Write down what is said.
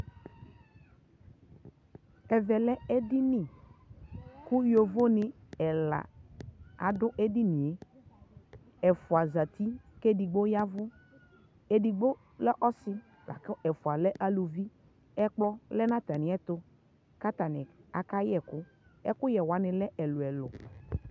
ɛvɛ lɛ ɛdini kʋ yɔvɔ ni ɛla adʋ ɛdiniɛ, ɛƒʋa zati kʋ ɛdigbɔ yavʋ, ɛdigbɔ lɛ ɔsii lakʋ ɛƒʋa lɛ ɔsii, ɛkplɔ lɛnʋ atami ɛtʋ kʋ atani ka yɛkʋ, ɛkʋyɛ wani lɛ ɛlʋɛlʋ